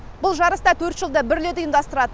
бұл жарыс та төрт жылда бір рет ұйымдастырады